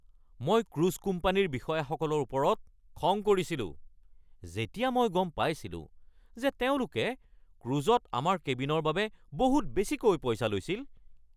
মই ক্ৰুজ কোম্পানীৰ বিষয়াসকলৰ ওপৰত খং কৰিছিলো যেতিয়া মই গম পাইছিলো যে তেওঁলোকে ক্ৰুজত আমাৰ কেবিনৰ বাবে বহুত বেছিকৈ পইচা লৈছিল।